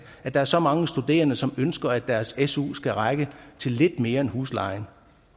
at der er så mange studerende som ønsker at deres su skal række til lidt mere end huslejen